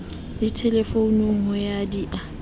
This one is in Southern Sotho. le thelefounung ho di e